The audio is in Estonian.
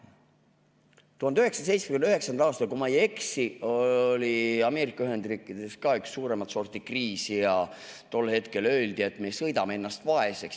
1979. aastal, kui ma ei eksi, oli Ameerika Ühendriikides ka üks suuremat sorti kriis ja tol hetkel öeldi, et me sõidame ennast vaeseks.